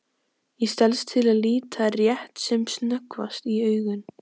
Ég stelst til að líta rétt sem snöggvast í augun.